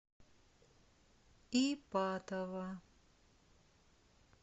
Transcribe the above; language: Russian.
ипатово